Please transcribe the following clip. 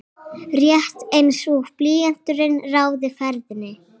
Rétt einsog blýanturinn ráði ferðinni.